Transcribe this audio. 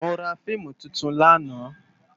Mó rá fiimú tútún làná